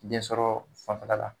Den sɔrɔ fanfɛla la.